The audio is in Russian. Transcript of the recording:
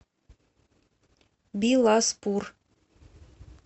биласпур